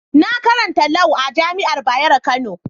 Na karanta Lau a'jami'an Bayero Kano.